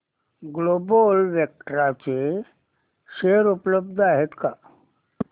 global Vectra चे share उपलब्ध आहेत का